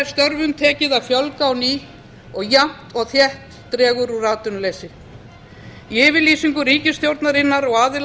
störfum tekið að fjölga á ný og jafnt og þétt dregur úr atvinnuleysi í yfirlýsingu ríkisstjórnarinnar og aðila